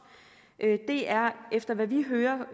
det er efter hvad vi hører